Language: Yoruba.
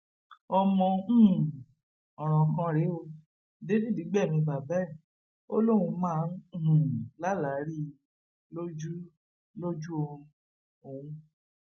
ọmọ um ọràn kan rèé o david gbẹmí bàbá ẹ o lóun máa ń um lálàá rí i lójú lójú oorun òun